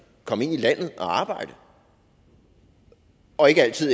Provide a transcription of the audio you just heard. komme ind i landet og arbejde og ikke altid